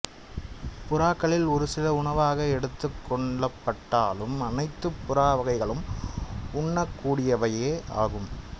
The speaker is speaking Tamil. புறாக்களில் ஒரு சில உணவாக எடுத்துக்கொள்ளப்பட்டாலும் அனைத்துப் புறா வகைகளும் உண்ணக்கூடியவையே ஆகும்